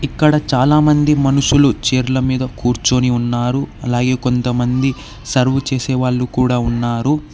ఇక్కడ చాలామంది మనుషులు చేర్ల మీద కూర్చొని ఉన్నారు అలాగే కొంతమంది సర్వ్ చేసే వాళ్ళు కూడా ఉన్నారు.